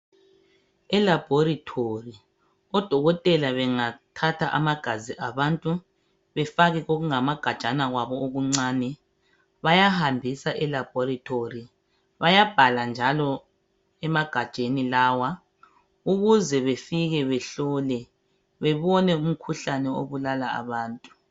Elabhoretori oDokotela bangathatha amagazi abantu befake kokungamagajana kwabo okuncane bayahambisa elabhoretori. Bayabhala njalo emagajeni lawa ukuze befike behlole bebone umkhuhlane obulala abantu.